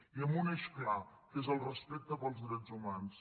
i amb un eix clar que és el respecte pels drets humans